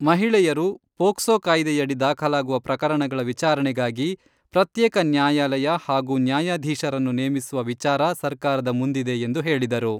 ಮಹಿಳೆಯರು, ಪೋಕ್ಸೋ ಕಾಯ್ದೆಯಡಿ ದಾಖಲಾಗುವ ಪ್ರಕರಣಗಳ ವಿಚಾರಣೆಗಾಗಿ ಪ್ರತ್ಯೇಕ ನ್ಯಾಯಾಲಯ ಹಾಗೂ ನ್ಯಾಯಾಧೀಶರನ್ನು ನೇಮಿಸುವ ವಿಚಾರ ಸರ್ಕಾರದ ಮುಂದಿದೆ ಎಂದು ಹೇಳಿದರು.